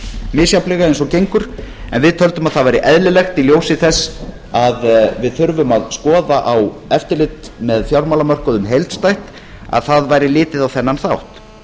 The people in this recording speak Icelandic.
misjafnlega eins og gengur en við töldum að það væri eðlilegt í ljósi þess að við þurfum að skoða eftirlit með fjármálamörkuðum heildstætt að það væri litið á þennan þátt